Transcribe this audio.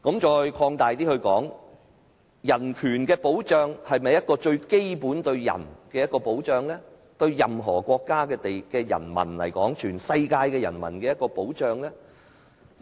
再擴大一點來說，人權的保障是否對人最基本的保障，是對任何國家的人民和全世界的人民的保障？